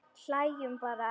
Hlæjum bara.